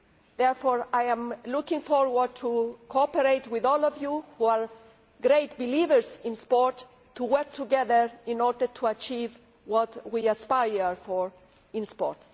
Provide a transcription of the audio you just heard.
Therefore I look forward to cooperating with all of you who are great believers in sport and working together in order to achieve what we aspire for in sport.